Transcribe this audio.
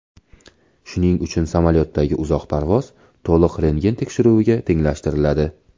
Shuning uchun samolyotdagi uzoq parvoz to‘liq rentgen tekshiruviga tenglashtiriladi.